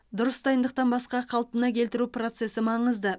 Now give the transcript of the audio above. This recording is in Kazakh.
дұрыс дайындықтан басқа қалпына келтіру процесі маңызды